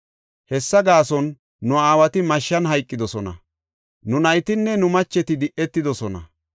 Hessa gaason, nu aawati mashshan hayqidosona; nu naytinne nu macheti di7etidosona.